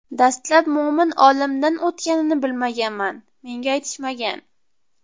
Dastlab Mo‘min olamdan o‘tganini bilmaganman, menga aytishmagan.